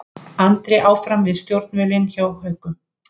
Andri áfram við stjórnvölinn hjá Haukum